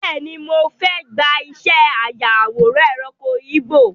Bẹ́ẹ̀ni, mo fẹ́ gbà ìṣẹ́ aya àwòrán ẹranko igbó.